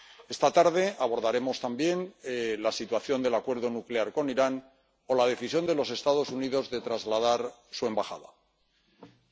Esta tarde abordaremos también la situación del acuerdo nuclear con Irán o la decisión de los Estados Unidos de trasladar su embajada en Israel.